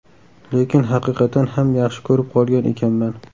Lekin haqiqatan ham yaxshi ko‘rib qolgan ekanman.